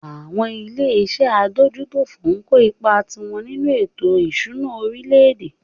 Àwọn ilé iṣé adójútòfò ń kó ipá tiwọn nínú ètò ìṣúná orílẹ̀-èdè.